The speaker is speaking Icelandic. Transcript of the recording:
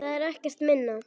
Það er ekkert minna!